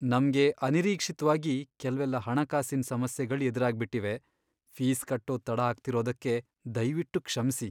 ನಮ್ಗೆ ಅನಿರೀಕ್ಷಿತ್ವಾಗಿ ಕೆಲ್ವೆಲ್ಲ ಹಣಕಾಸಿನ್ ಸಮಸ್ಯೆಗಳ್ ಎದ್ರಾಗ್ಬಿಟಿವೆ. ಫೀಸ್ ಕಟ್ಟೋದ್ ತಡ ಆಗ್ತಿರೋದಕ್ಕೆ ದಯ್ವಿಟ್ಟು ಕ್ಷಮ್ಸಿ.